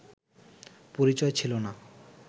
পরিচয় ছিল না